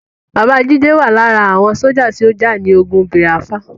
Bàbá Jídé wà lára àwọn sójà tó jà ní ogun Bìáfírà